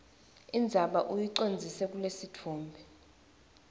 indzaba uyicondzise kulesitfombe